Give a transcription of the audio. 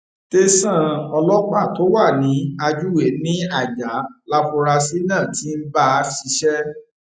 tẹsán ọlọpàá tó wà ní ajuwe ní ajah láforasí náà ti ń bá ṣiṣẹ